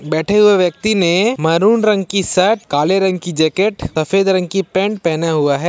बैठे हुए व्यक्ति ने मैरून रंग की शर्ट काले रंग की जैकेट सफेद रंग की पैंट पहना हुआ हैं।